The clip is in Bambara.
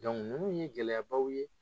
nunnu ye gɛlɛyabaw ye